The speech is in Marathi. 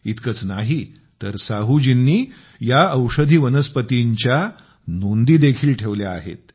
इतकंच नाही तर साहूजींनी या औषधी वनस्पतींच्या नोंदी देखील ठेवल्या आहेत